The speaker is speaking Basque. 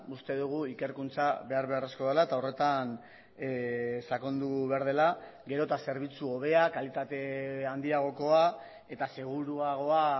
uste dugu ikerkuntza behar beharrezkoa dela eta horretan sakondu behar dela gero eta zerbitzu hobea kalitate handiagokoa eta seguruagoa